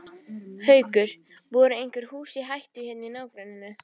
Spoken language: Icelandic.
Haukur: Voru einhver hús í hættu hérna í nágrenninu?